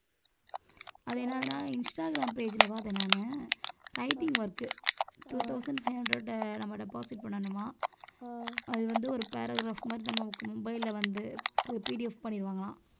அது என்னதுன்னா Instagram page ல பார்த்தேன் நானு writing work two thousand five hundred நம்ம deposit பண்ணணுமா அது வந்து ஒரு paragraph மாதிரி நம்ம mobile ல வந்து PDF பண்ணிருவாங்களாம்